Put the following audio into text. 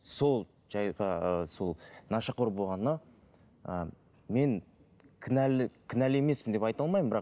сол жайға ыыы сол нашақор болғанына ыыы мен кінәлі емеспін деп айта алмаймын бірақ